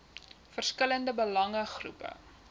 verskillende belange groepe